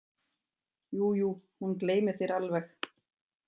Jú jú, hún gleymir þér alveg.